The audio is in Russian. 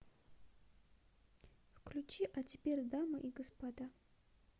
включи а теперь дамы и господа